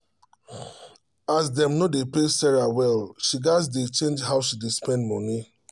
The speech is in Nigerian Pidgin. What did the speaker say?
as dem no dey pay sarah well she gats dey change how she dey um spend money